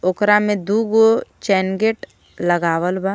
ओकरा में दुगो चैन गेट लगावल बा.